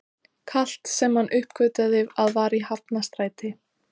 Kalt, sem hann uppgötvaði að var í Hafnarstræti.